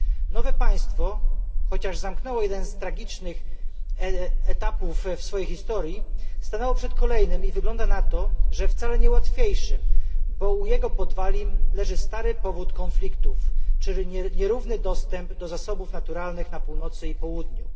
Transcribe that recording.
Nowe państwo, chociaż zamknęło jeden z tragicznych etapów w swojej historii, stanęło przed kolejnym i wygląda na to, że wcale nie łatwiejszym, bo u jego podwalin leży stary powód konfliktów, czyli nierówny dostęp do zasobów naturalnych na północy i południu.